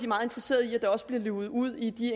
meget interesseret i at der også bliver luget ud i de